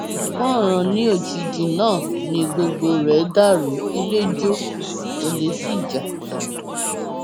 kànràn ní òjijì náà ni gbogbo rẹ dàrú ilé jọ olè sí já